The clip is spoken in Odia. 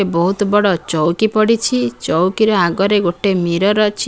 ବହୁତ ବଡ ଚଉକି ପଡିଛି ଚଉକିର ଆଗରେ ଗୋଟେ ମିରର୍ ଅଛି।